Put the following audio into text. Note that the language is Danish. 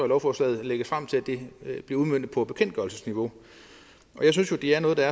lovforslaget udmøntes på bekendtgørelsesniveau jeg synes jo det er noget der